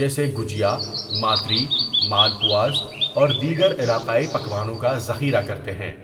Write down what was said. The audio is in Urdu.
جیسے گوجیا، ماتری، مالپواس اور دیگر علاقائی پکوانوں کا ذخیرہ کرتے ہیں۔